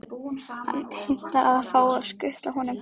Hann heimtar að fá að skutla honum.